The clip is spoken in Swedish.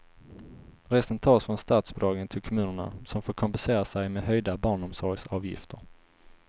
Resten tas från statsbidragen till kommunerna, som får kompensera sig med höjda barnomsorgsavgifter.